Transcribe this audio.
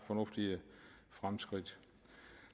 fornuftige fremskridt